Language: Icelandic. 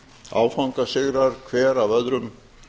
áfangasigrar hver af öðrum